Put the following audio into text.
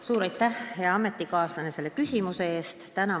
Suur aitäh, hea ametikaaslane, selle küsimuse eest!